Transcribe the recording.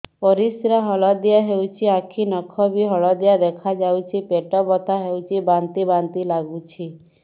ପରିସ୍ରା ହଳଦିଆ ହେଉଛି ଆଖି ନଖ ବି ହଳଦିଆ ଦେଖାଯାଉଛି ପେଟ ବଥା ହେଉଛି ବାନ୍ତି ବାନ୍ତି ଲାଗୁଛି